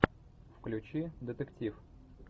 включи детектив